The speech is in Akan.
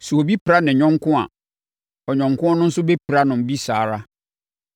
Sɛ obi pira ne yɔnko a, ɔyɔnko no nso bɛpira no bi saa ara.